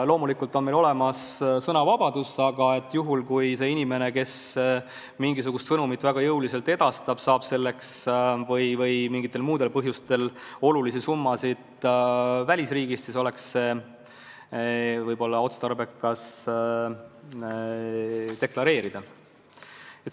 Loomulikult on meil olemas sõnavabadus, aga kui inimene, kes mingisugust sõnumit väga jõuliselt edastab, saab selleks või mingitel muudel põhjustel olulisi summasid välisriigist, siis oleks võib-olla otstarbekas nõuda nende summade deklareerimist.